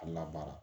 A labaara